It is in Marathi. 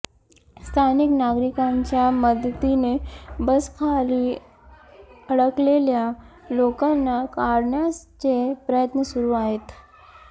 स्थानिक नागरिकांच्या मदतीने बसखाली अडकलेल्या लोकांना काढण्याचे प्रयत्न सुरु आहेत